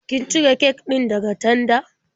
Kin cire kek din daga tanda?